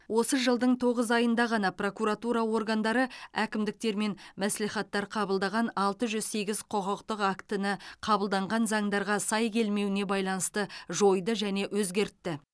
осы жылдың тоғыз айында ғана прокуратура органдары әкімдіктер мен мәслихаттар қабылдаған алты жүз сегіз құқықтық актіні қабылданған заңдарға сай келмеуіне байланысты жойды және өзгертті